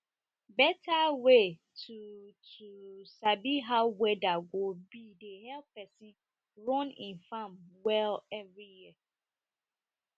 better way to sabi how weader go run e farm well